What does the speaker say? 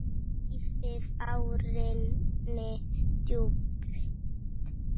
Dýfði árinni djúpt.